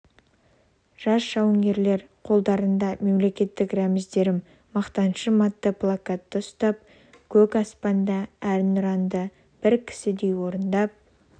жас жауынгерлер қолдарында мемлекеттік рәміздерім мақтанышым атты плакатты ұстап көк аспанда әнұранды бір кісідей орындап